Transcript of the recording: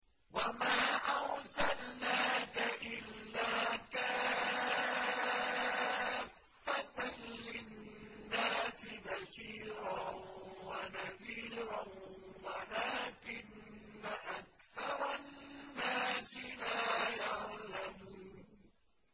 وَمَا أَرْسَلْنَاكَ إِلَّا كَافَّةً لِّلنَّاسِ بَشِيرًا وَنَذِيرًا وَلَٰكِنَّ أَكْثَرَ النَّاسِ لَا يَعْلَمُونَ